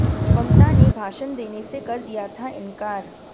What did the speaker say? ममता ने भाषण देने से कर दिया था इनकार